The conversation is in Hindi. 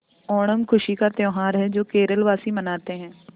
ओणम खुशी का त्यौहार है जो केरल वासी मनाते हैं